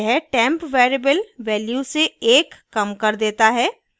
यह temp variable value से एक कम कर देता है